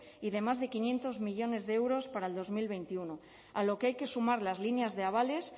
y de más de quinientos millónes de euros para dos mil veintiuno a lo que hay que sumar las líneas de avales